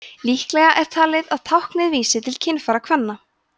líklegra er talið að táknið vísi til kynfæra kvenna